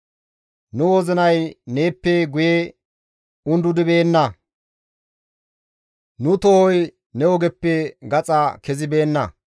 Nu wozinay neeppe guye undudibeenna; nu tohoy ne ogeppe gaxa kezibeenna.